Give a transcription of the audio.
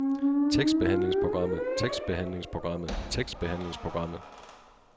tekstbehandlingsprogrammet tekstbehandlingsprogrammet tekstbehandlingsprogrammet